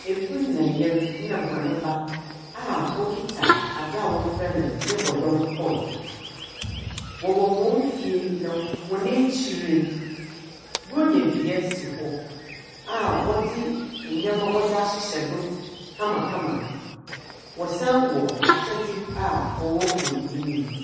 Ekun na yer na hɔn ba a okita adza wɔfrɛ no ne bɔdɔm toe. Wɔwɔ hɔn fie na wɔn akyir no, Buronyadua si hɔ a wɔdze nnyɛma wɔde ahyehyɛ do kamakama. Wɔsan wɔ akyɛdze a ɔwɔ wɔn enyim.